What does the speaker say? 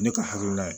Ne ka hakilina ye